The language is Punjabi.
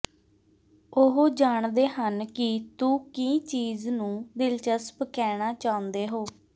ਉਹ ਜਾਣਦੇ ਹਨ ਕਿ ਤੂੰ ਕੀ ਚੀਜ਼ ਨੂੰ ਦਿਲਚਸਪ ਕਹਿਣਾ ਚਾਹੁੰਦੇ ਹੋ